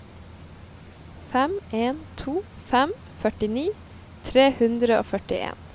fem en to fem førtini tre hundre og førtien